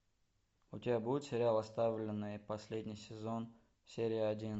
у тебя будет сериал оставленные последний сезон серия один